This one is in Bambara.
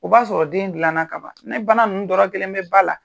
O b'a sɔrɔ den dilanna ka ban. Ni bana ninnu dɔ la kelen bɛ ba la,